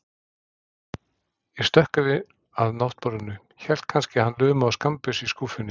Ég stökk yfir að náttborðinu, hélt kannski að hann lumaði á skammbyssu í skúffunni.